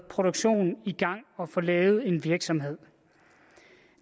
produktionen og få lavet en virksomhed